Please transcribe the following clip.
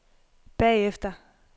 bagefter